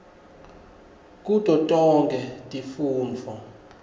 kuto tonkhe tifundvo